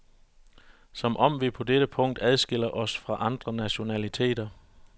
Som om vi på dette punkt adskiller os fra andre nationaliteter.